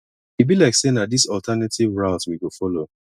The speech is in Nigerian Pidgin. e be like sey na dis alternative route we go folo